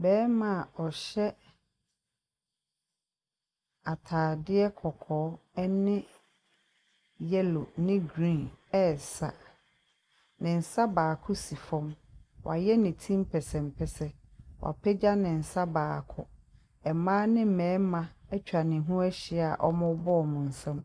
Barima a ɔhyɛ atadeɛ kɔkɔɔ ne yellow ne green resa. Ne nsa baako si fam. Wayɛ ne ti mpɛnsɛmpɛsɛ. Wapagya be nsa baako. Mmaa ne mmarima atwa ne ho ahyi a wɔrebɔ wɔn nsam.